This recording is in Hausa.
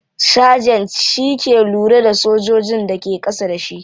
Sergeant shi ke lura da sojojin da ke kasa da shi.